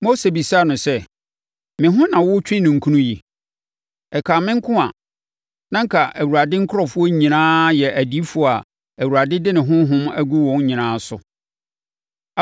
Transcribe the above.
Mose bisaa no sɛ, “Me ho na woretwe ninkunu yi? Ɛkaa me nko a, na anka Awurade nkurɔfoɔ nyinaa yɛ adiyifoɔ a Awurade de ne honhom agu wɔn nyinaa so!”